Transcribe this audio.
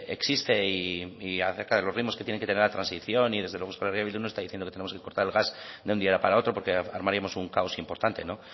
existe y a cerca de los ritmos que tiene que tener la transición y desde luego euskal herria bildu no está diciendo que tenemos que cortar el gas de un día para otro porque armaríamos un caos importante